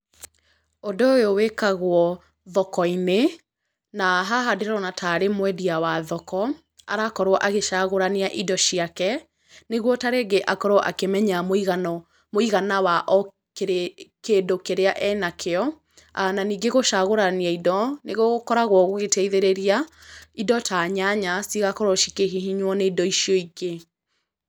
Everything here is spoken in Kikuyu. Ũndũ ũyũ wĩkagwo thoko-inĩ, na haha ndĩrona tarĩ mwendia wa thoko, arakorwo agĩcagũrania indo ciake, nĩ guo tarĩngĩ akorwo akĩmenya mũigana wa o kĩndũ kĩrĩa ena kĩo, na ningĩ gũcagũrania indo, nĩ gũkoragwo gũgĩteithĩrĩria indo ta nyanya citigakorwo cikĩhihinywo nĩ indo icio ingĩ.